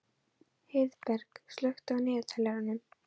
Heiðberg, slökktu á niðurteljaranum.